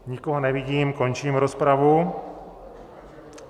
Nikoho nevidím, končím rozpravu.